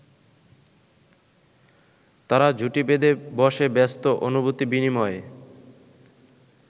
তারা জুটি বেঁধে বসে ব্যস্ত অনুভূতি বিনিমেয়ে।